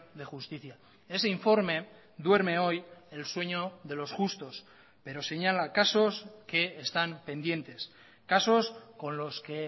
de justicia ese informe duerme hoy el sueño de los justos pero señala casos que están pendientes casos con los que